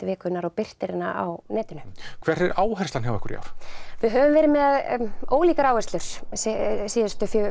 vikunnar og birtir á netinu hver er áherslan hjá ykkur í ár við höfum verið með ólíkar áherslur síðustu